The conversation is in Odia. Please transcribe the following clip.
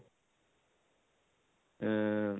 ଉଃ ଉଃ